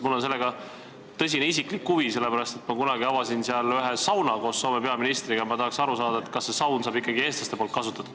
Mul on selle vastu tõsine isiklik huvi, sellepärast et ma kunagi avasin seal koos Soome peaministriga ühe sauna ja ma tahaks teada, kas seda sauna ikka eestlased ka kasutavad.